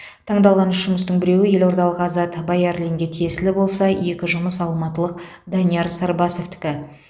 таңдалған үш жұмыстың біреуі елордалық азат баярлинге тиесілі болса екі жұмыс алматылық данияр сарбасовтікі